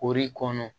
Kori kɔnɔ